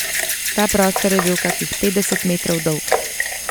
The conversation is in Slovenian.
Ta prostor je bil kakih petdeset metrov dolg.